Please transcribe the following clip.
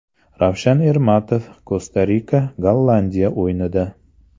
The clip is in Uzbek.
Ravshan Ermatov Kosta-Rika Gollandiya o‘yinida.